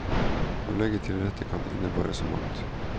Å legge til rette kan innebære så mangt.